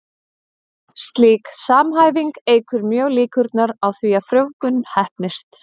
Slík samhæfing eykur mjög líkurnar á því að frjóvgun heppnist.